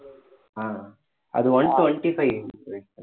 ஆஹ் அது one twenty-five ன்னு சொல்லிட்டு